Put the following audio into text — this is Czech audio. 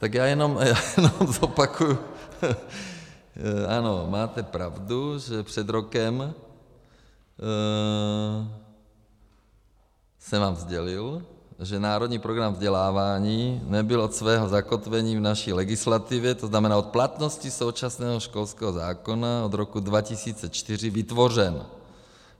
Tak já jenom zopakuji, ano, máte pravdu, že před rokem jsem vám sdělil, že národní program vzdělávání nebyl od svého zakotvení v naší legislativě, to znamená od platnosti současného školského zákona, od roku 2004, vytvořen.